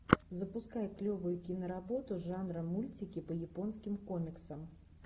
запускай клевую киноработу жанра мультики по японским комиксам